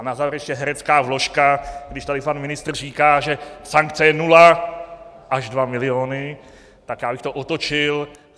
A na závěr ještě herecká vložka, když tady pan ministr říká, že sankce je nula až dva miliony, tak já bych to otočil.